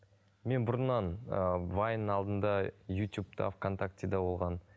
мен бұрыннан ыыы вайн алдында ютубта в контактіде болған